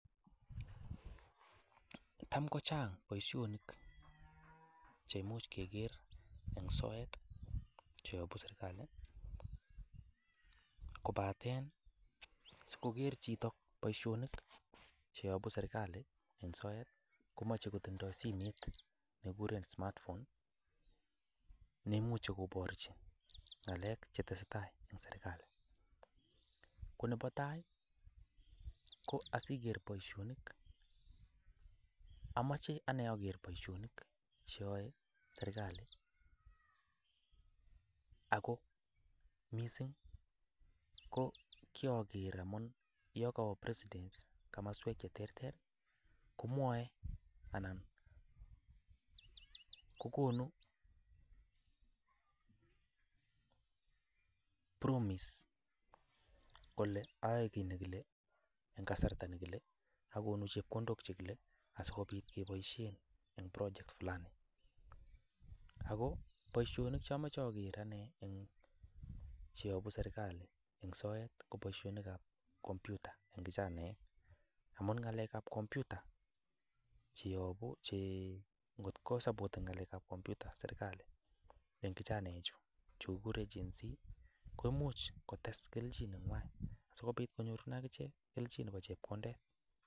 Tam kochang boishoniik cheimuch kegeer en soet, cheyoobu serkalii. Kobaten sikogeer chito boishoniik cheyoobu serkalii en sort komoche kotindoi simet nekikuuren smart phone .Neimuche koboorchi ng'alek chetesetai en serkalii, konebotai ko asigeer boishoonik amoche ageer ane boishonik cheyoe serkalii. Ago missing ko kiager amun yon kowoo president komoswek che terter komwoe ,kokonuu promise kole ayoekit nekilee en kasartaa nekile. Akonuu cheokondook chekile asikobiit keboishien en prochet anum. Ako boishoonik cheomoche ageer anee, cheyoobu serkalii en soet koboishonik ab kompyuta en kijanaek. En ngalekab kompyuta checking kosapoten ngalek ab kompyuta serkalii en kijanaechu kiguuren genzee koimuch, kotes kelchin nenywan sikobiit konyoorunen akichek kelchin Nebo chepkondet.